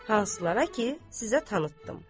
Hansılara ki, sizə tanıtdım.